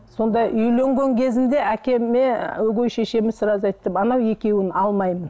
сонда үйленген кезінде әкеме өгей шешеміз сразу айтты анау екеуін алмаймын